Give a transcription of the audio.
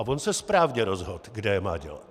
A on se správně rozhodl, kde je má dělat.